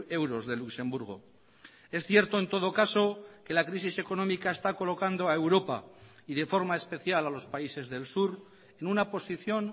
euros de luxemburgo es cierto en todo caso que la crisis económica está colocando a europa y de forma especial a los países del sur en una posición